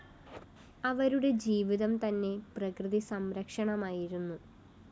അവരുടെ ജീവിതം തന്നെ പ്രകൃതി സംരക്ഷണമായിരുന്നു